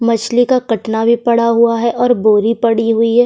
मछली का कटना भी पड़ा हुआ है और बोरी परी हुई है।